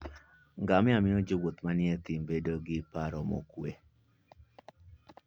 Ngamia miyo jowuoth manie thim bedo gi paro mokuwe.